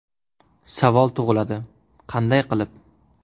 Savol tug‘iladi: qanday qilib?